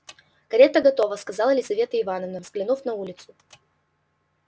карета готова сказала лизавета ивановна взглянув на улицу